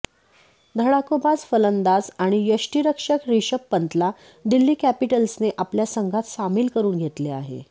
धडाकोबाज फलंदाज आणि यष्टीरक्षक रिषभ पंतला दिल्ली कॅपिटल्सने आपल्या संघात सामील करून घेतले आहे